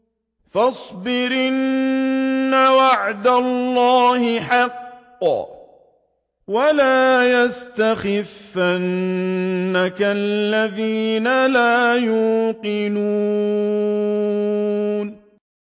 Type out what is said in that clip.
فَاصْبِرْ إِنَّ وَعْدَ اللَّهِ حَقٌّ ۖ وَلَا يَسْتَخِفَّنَّكَ الَّذِينَ لَا يُوقِنُونَ